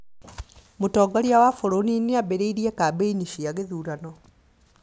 Mũtongoria wa bũrũri nĩambĩrĩirie kambeini cia gĩthurano